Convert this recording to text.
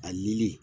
A yeli